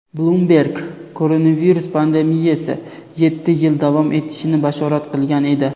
"Bloomberg" koronavirus pandemiyasi yetti yil davom etishini bashorat qilgan edi.